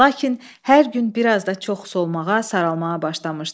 Lakin hər gün biraz da çox solmağa, saralmağa başlamışdı.